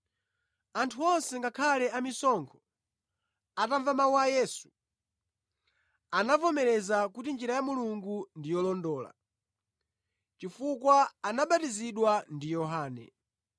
Anthu onse, ngakhale amisonkho, atamva mawu a Yesu, anavomereza kuti njira ya Mulungu ndi yolondola, chifukwa anabatizidwa ndi Yohane.